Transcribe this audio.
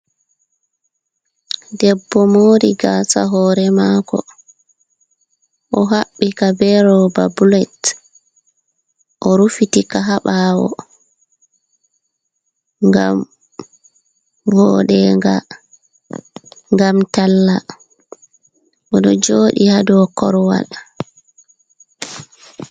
Debbo mori gaasa hore mako o haɓɓika be roba bulet o rufitika ha ɓawo ngam voɗenga ngam talla oɗo jooɗi ha dou korowal.